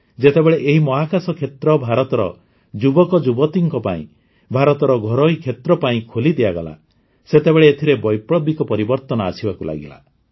ଯେତେବେଳେ ଏହି ମହାକାଶ କ୍ଷେତ୍ର ଭାରତର ଯୁବକଯୁବତୀଙ୍କ ପାଇଁ ଭାରତର ଘରୋଇ କ୍ଷେତ୍ର ପାଇଁ ଖୋଲିଦିଆଗଲା ସେତେବେଳେ ଏଥିରେ ବୈପ୍ଳବିକ ପରିବର୍ତ୍ତନ ଆସିବାକୁ ଲାଗିଲା